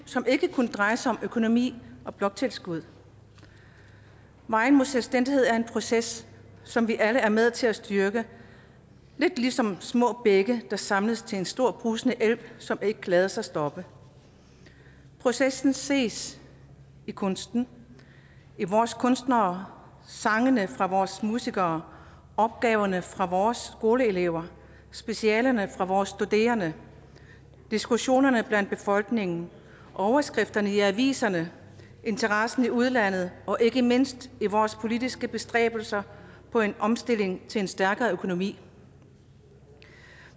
som ikke kun drejer sig om økonomi og bloktilskud vejen mod selvstændighed er en proces som vi alle er med til at styrke lidt ligesom små bække der samles til en stor brusende elv som ikke lader sig stoppe processen ses i kunsten i vores kunstnere sangene fra vores musikere opgaverne fra vores skoleelever specialerne fra vores studerende diskussionerne blandt befolkningen overskrifterne i aviserne interessen i udlandet og ikke mindst i vores politiske bestræbelser på en omstilling til en stærkere økonomi